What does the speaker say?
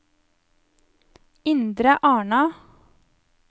Indre Arna